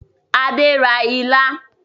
Adé ra ilá